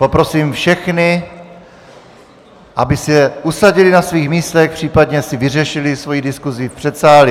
Poprosím všechny, aby se usadili na svých místech, případně si vyřešili svoji diskusi v předsálí.